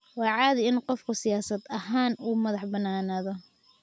Waa caadi in qofku siyaasad ahaan u madax bannaanaado.